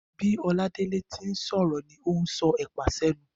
Bí Oladele ti ń sòrò ni òùn so èpà sẹ́nu